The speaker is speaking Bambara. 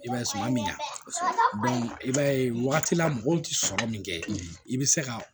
I b'a ye suma min ɲa i b'a ye wagati la mɔgɔw tɛ sɔrɔ min kɛ i bɛ se ka